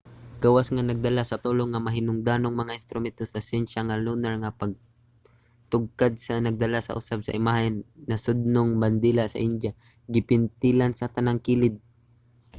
gawas nga nagdala sa tulo nga mahinungdanong mga instrumento sa syensya ang lunar nga pagtugkad nagdala usab sa imahe sa nasudnong bandila sa india nga gipintalan sa tanang kilid